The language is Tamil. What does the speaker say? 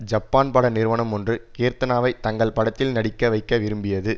ஜப்பான் பட நிறுவனம் ஒன்று கீர்த்தனாவை தங்கள் படத்தில் நடிக்க வைக்க விரும்பியது